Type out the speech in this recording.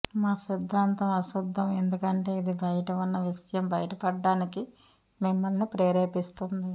మా సిద్ధాంతం అశుద్ధం ఎందుకంటే ఇది బయట ఉన్న విషయం బయటపడటానికి మిమ్మల్ని ప్రేరేపిస్తుంది